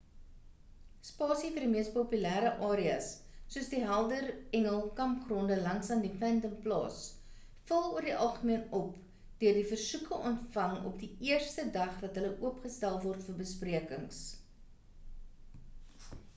spasie vir die mees populêre areas soos die helder engel kampgronde langsaan die phantom plaas vul oor die algemeen op deur die versoeke ontvang op die eerste dag dat hulle oopgestel word vir besprekings